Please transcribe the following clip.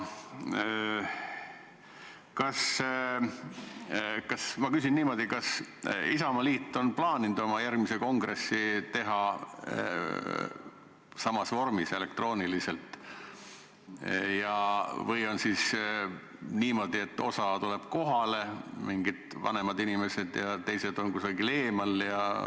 Aga kas Isamaa on plaaninud oma järgmise kongressi teha elektrooniliselt või on niimoodi, et osa tuleb kohale, mingid vanemad inimesed, ja teised on kuskil eemal?